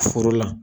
Foro la